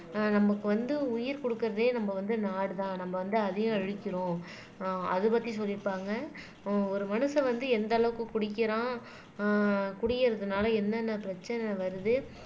ஆஹ் நமக்கு வந்து உயிர் குடுக்கறதே நம்ம வந்து நாடுதான் நம்ம வந்து அதையும் அழிக்கிறோம் ஆஹ் அதைப்பத்தி சொல்லிருப்பாங்க ஹம் ஒரு மனுஷன் வந்து எந்த அளவுக்கு குடிக்கிறான் ஆஹ் குடியிறதுனால என்னென்ன பிரச்சனை வருது